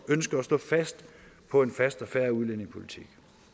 ønsker at stå fast på en fast og fair udlændingepolitik